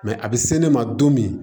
a bɛ se ne ma don min